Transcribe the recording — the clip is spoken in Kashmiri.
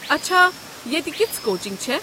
اچھا ییٚتہِ كِژھ کوچِنٛگ چھےٚ؟